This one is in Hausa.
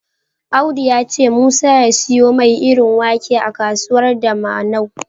Audu ya ce Musa ya siyo mai irin wake a kasuwar Dawanau.